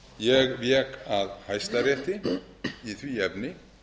ég vék að hæstarétti í því efni